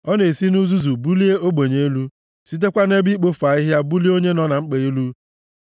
Ọ na-esi nʼuzuzu bulie ogbenye elu sitekwa nʼebe ikpofu ahịhịa bulie onye nọ na mkpa elu;